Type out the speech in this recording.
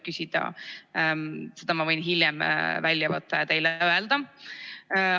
Ma võin hiljem selle välja võtta ja teile öelda.